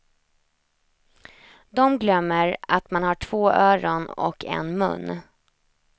De glömmer att man har två öron och en mun.